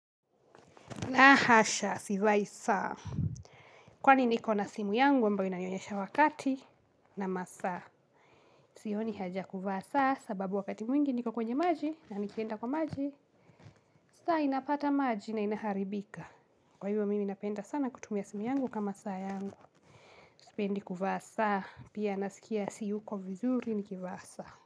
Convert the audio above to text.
La hasha, sivai saa. Kwani niko na simu yangu, ambayo inanionyesha wakati na masaa. Sioni haja ya kuvaa saa, sababu wakati mwingi niko kwenye maji, na nikienda kwa maji. Saa inapata maji na inaharibika. Kwa hivyo mimi napenda sana kutumia simu yangu kama saa yangu. Sipendi kuvaa saa, pia nasikia siyuko vizuri nikivaa saa.